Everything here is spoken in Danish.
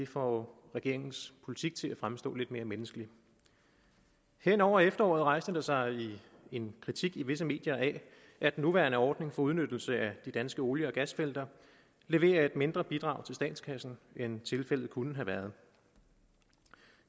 får regeringens politik til at fremstå lidt mere menneskelig hen over efteråret rejste der sig en kritik i visse medier af at den nuværende ordning for udnyttelse af de danske olie og gasfelter leverer et mindre bidrag til statskassen end tilfældet kunne have været